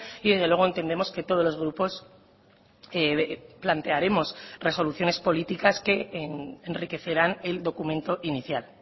y desde luego entendemos que todos los grupos plantearemos resoluciones políticas que enriquecerán el documento inicial